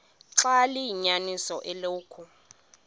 xaba liyinyaniso eloku